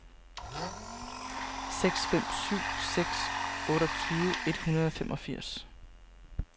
seks fem syv seks otteogtyve et hundrede og femogfirs